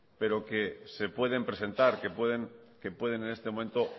pero se pueden presentar que pueden en este momento